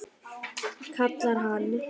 kallar hann.